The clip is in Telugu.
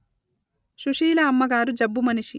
సుశీల అమ్మగారు జబ్బు మనిషి